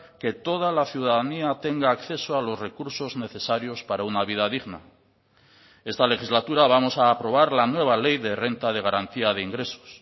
que toda la ciudadanía tenga acceso a los recursos necesarios para una vida digna esta legislatura vamos a aprobar la nueva ley de renta de garantía de ingresos